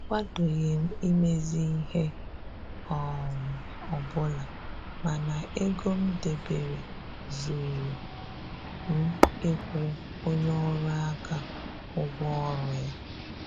Akwadoghị m imezi ihe um ọbụla mana ego m debere zuuru m ịkwụ onye ọrụ aka ụgwọ ọrụ ya